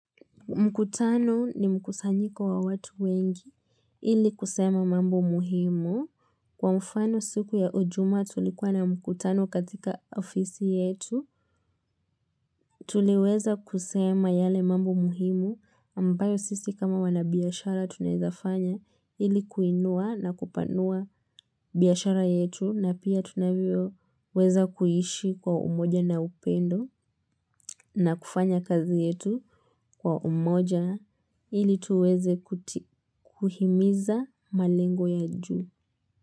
Mkutano ni mkusanyiko wa watu wengi ili kusema mambo muhimu. Kwa mfano siku ya ujumaa tulikuwa na mkutano katika ofisi yetu, tuliweza kusema yale mambo muhimu ambayo sisi kama wanabiashara tunaezafanya ili kuinua na kupanua biashara yetu na pia tunavyoweza kuishi kwa umoja na upendo na kufanya kazi yetu kwa umoja ili tuweze kuhimiza malengo ya juu.